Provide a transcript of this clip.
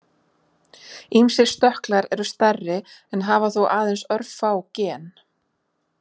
Ýmsir stökklar eru stærri en hafa þó aðeins örfá gen.